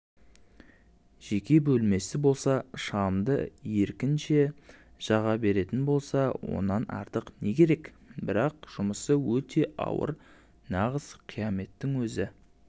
жеке бөлмесі болса шамды еркінше жаға беретін болса онан артық не керекбірақ жұмысы өте ауыр нағыз қияметтің өзі